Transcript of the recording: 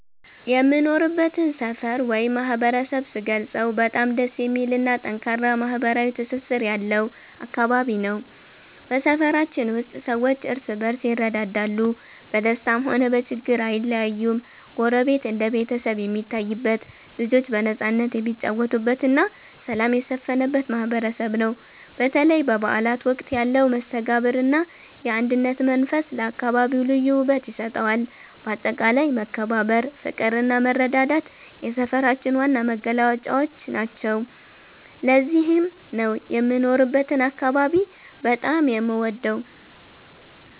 የምኖርበትን ሰፈር ወይም ማህበረሰብ ስገልጸው በጣም ደስ የሚልና ጠንካራ ማህበራዊ ትስስር ያለው አካባቢ ነው። በሰፈራችን ውስጥ ሰዎች እርስ በርስ ይረዳዳሉ፤ በደስታም ሆነ በችግር ጊዜ አይለያዩም። ጎረቤት እንደ ቤተሰብ የሚታይበት፣ ልጆች በነፃነት የሚጫወቱበትና ሰላም የሰፈነበት ማህበረሰብ ነው። በተለይ በበዓላት ወቅት ያለው መስተጋብርና የአንድነት መንፈስ ለአካባቢው ልዩ ውበት ይሰጠዋል። በአጠቃላይ መከባበር፣ ፍቅርና መረዳዳት የሰፈራችን ዋና መገለጫዎች ናቸው። ለዚህም ነው የምኖርበትን አካባቢ በጣም የምወደው።